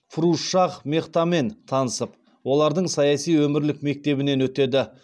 фирузшах мехтамен танысып олардың саяси өмірлік мектебінен өтеді